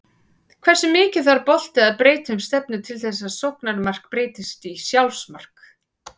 Hversu mikið þarf bolti að breyta um stefnu til þess að sóknarmark breytist í sjálfsmark?